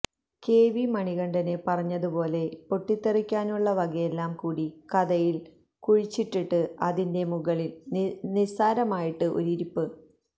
K V Manikandan പറഞ്ഞതുപോലെ പൊട്ടിത്തെറിക്കാനുള്ള വകയെല്ലാം കൂടി കഥയില് കുഴിച്ചിട്ടിട്ട് അതിന്റെ മുകളില് നിസ്സാരമായിട്ട് ഒരു ഇരിപ്പ്